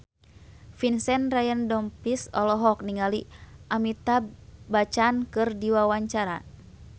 Vincent Ryan Rompies olohok ningali Amitabh Bachchan keur diwawancara